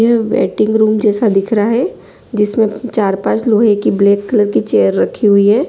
यह waiting room जैसा दिख रहा है जिसमे चार पांच लोहे की ब्लैक कलर की चेयर रखी हुई हैं।